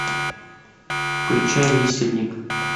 включай висельник